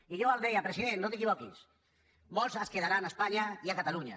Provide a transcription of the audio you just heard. i jo li deia president no t’equivoquis molts es quedaran a espanya i a catalunya